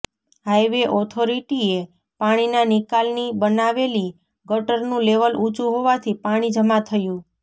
highway ઓથોરિટીએ પાણીના નિકાલની બનાવેલી ગટરનું લેવલ ઊંચું હોવાથી પાણી જમા થયું